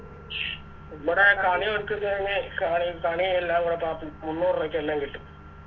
നമ്മടെ കണി വെക്കുന്നന് കണി കണിയെല്ലാം കൂടെ പ പു മൂന്നൂറുപക്ക് എല്ലാം കിട്ടും